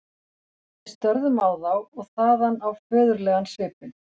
Við störðum á þá- og þaðan á föðurlegan svipinn.